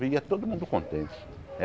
E ia todo mundo contente.